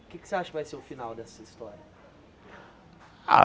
O que é que você acha que vai ser o final dessa história?